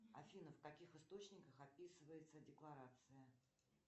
афина в каких источниках описывается декларация